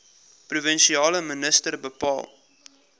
provinsiale minister bepaal